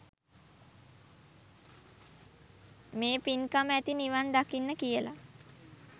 මේ පින්කම ඇති නිවන් දකින්න කියලා.